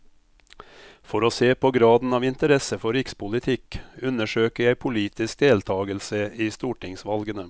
For å se på graden av interesse for rikspolitikk, undersøker jeg politisk deltagelse i stortingsvalgene.